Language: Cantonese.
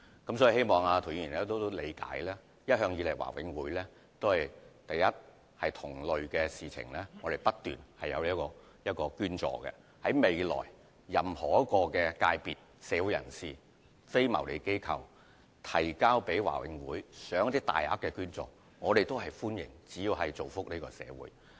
我希望涂議員理解，第一，華永會一直以來都有就同類申請作出捐助，而日後無論任何非牟利機構向華永會提出大額捐款的申請，只要是造福社會，我們都會歡迎。